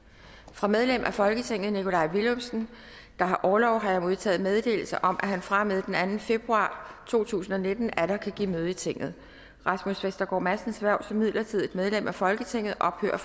fra medlem af folketinget nikolaj villumsen der har orlov har jeg modtaget meddelelse om at han fra og med den anden februar to tusind og nitten atter kan give møde i tinget rasmus vestergaard madsens hverv som midlertidigt medlem af folketinget ophører